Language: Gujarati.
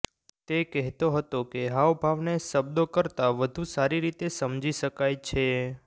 તે કહેતો હતો કે હાવભાવને શબ્દો કરતા વધુ સારી રીતે સમજી શકાય છે